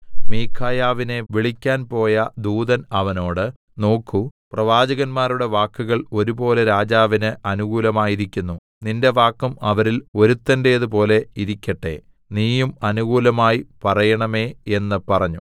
മീഖായാവിനെ വിളിക്കാൻ പോയ ദൂതൻ അവനോട് നോക്കൂ പ്രവാചകന്മാരുടെ വാക്കുകൾ ഒരുപോലെ രാജാവിന് അനുകൂലമായിരിക്കുന്നു നിന്റെ വാക്കും അവരിൽ ഒരുത്തന്റേതുപോലെ ഇരിക്കട്ടെ നീയും അനുകൂലമായി പറയേണമേ എന്ന് പറഞ്ഞു